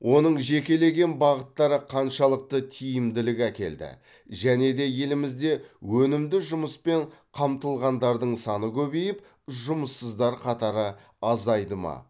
оның жекелеген бағыттары қаншалықты тиімділік әкелді және де елімізде өнімді жұмыспен қамтылғандардың саны көбейіп жұмыссыздар қатары азайды ма